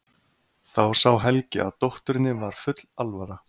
Þá sá Helgi að dótturinni var full alvara.